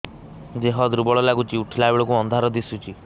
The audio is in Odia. ଦେହ ଦୁର୍ବଳ ଲାଗୁଛି ଉଠିଲା ବେଳକୁ ଅନ୍ଧାର ଦିଶୁଚି